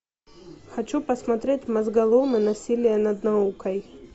хочу посмотреть мозголомы насилие над наукой